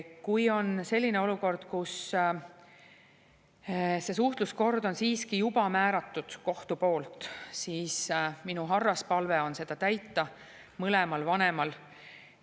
Kui on selline olukord, et see suhtluskord on siiski juba kohtu poolt määratud, siis minu harras palve on seda täita mõlemal vanemal.